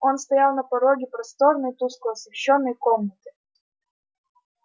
он стоял на пороге просторной тускло освещённой комнаты